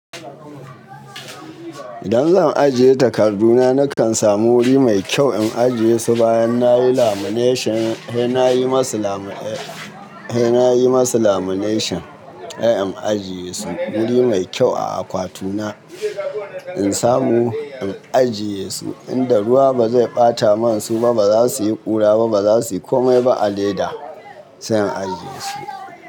Idan zan ajiye takarduna nakan samu wuri mai kyau in ajiye su bayan nayi lamineshin, se nayi masu lamineshin se in ajiye su wuri mai kyau a akwatuna. In samu in ajiye su inda ruwa ba zai ɓata masu ba, ba za su yi ƙura ba, ba za su yi komai ba a leda sai in ajiye su.